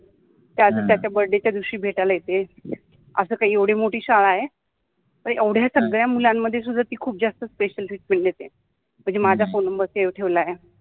त्याच त्याच्या ब्र्थ्डे च्या दिवशि भेटायला येते अस काइ एवढि मोठि शाळा आहे एवढ्या सगळ्या मुलान्मधे सुद्धा ति खुप जास्त स्पेशल ट्रिटमेण्ट देते त्यानि माझा फोन नम्बर सेव ठेवला आहे.